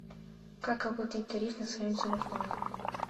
как оплатить тариф на своем телефоне